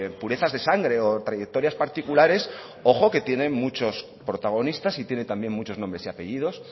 purezas de sangre o trayectorias particulares ojo que tienen muchos protagonistas y tiene también muchos nombres y apellidos